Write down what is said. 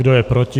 Kdo je proti?